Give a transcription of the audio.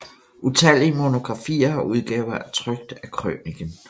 Utallige monografier og udgaver er trykt af krøniken